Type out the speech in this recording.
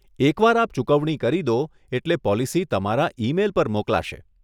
એક વાર આપ ચૂકવણી કરી દો, એટલે પોલિસી તમારા ઇ મેઈલ પર મોકલાશે.